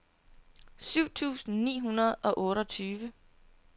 syv tusind ni hundrede og otteogtyve